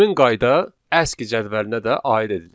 Həmin qayda aski cədvəlinə də aid edilir.